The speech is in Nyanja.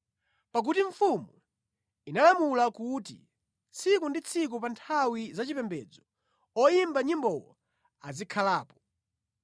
Pakuti mfumu inalamula kuti tsiku ndi tsiku pa nthawi zachipembedzo oyimba nyimbowo azikhalapo.